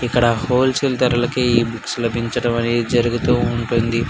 ఇక్కడ wholesale ధరలకే books లభించడం అనేది జరుగుతూ ఉంటుంది.